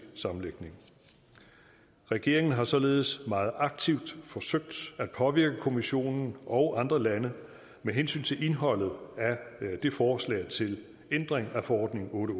sammenlægning regeringen har således meget aktivt forsøgt at påvirke kommissionen og de andre lande med hensyn til indholdet af det forslag til ændring af forordning otte